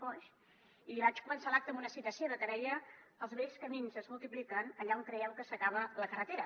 foix i vaig començar l’acte amb una cita seva que deia els bells camins es multipliquen allà on creieu que s’acaba la carretera